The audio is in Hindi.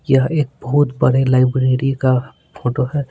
यह एक बहुत बड़े लाइब्रेरी का फोटो है।